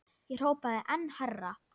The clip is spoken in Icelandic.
Ég hrópaði enn hærra.